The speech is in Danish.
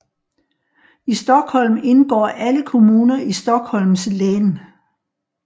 I Storstockholm indgår alle kommuner i Stockholms län